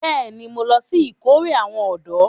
Bẹ́ẹ̀ni, mo lọ sí ìkórè àwọn ọ̀dọ́